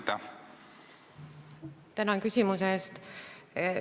Tänan küsimuse eest!